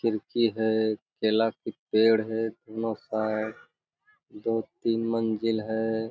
खिड़की है केला के पेड़ है दो-तीन मंजिल है।